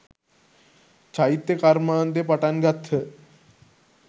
චෛත්‍ය කර්මාන්තය පටන් ගත්හ.